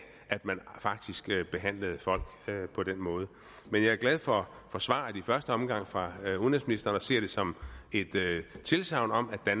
at man faktisk behandlede folk på den måde men jeg er glad for svaret i første omgang fra den fungerende udenrigsminister og ser det som et tilsagn om at